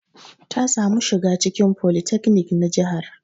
Ta samu shiga cikin folytekni na jihar.